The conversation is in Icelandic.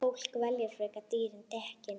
Fólk velji frekar dýrari dekkin.